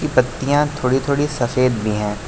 पत्तियां थोड़ी थोड़ी सफेद भी हैं।